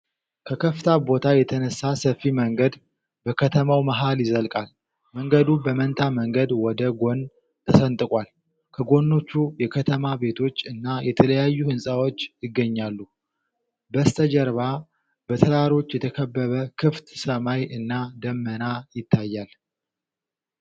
ከከፍታ ቦታ የተነሳ ሰፊ መንገድ በከተማው መሃል ይዘልቃል። መንገዱ በመንታ መንገድ ወደ ጎን ተሰንጥቋል። ከጎኖቹ የከተማ ቤቶች እና የተለያዩ ህንጻዎች ይገኛሉ። በስተጀርባ በተራሮች የተከበበ ክፍት ሰማይ እና ደመና ይታያል።